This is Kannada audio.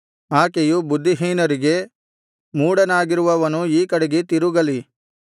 ಆಕೆಯು ಬುದ್ಧಿಹೀನರಿಗೆ ಮೂಢನಾಗಿರುವವನು ಈ ಕಡೆಗೆ ತಿರುಗಲಿ